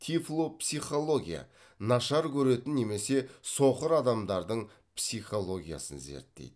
тифлопсихология нашар көретін немесе соқыр адамдардың психологиясын зерттейді